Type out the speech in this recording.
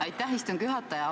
Aitäh, istungi juhataja!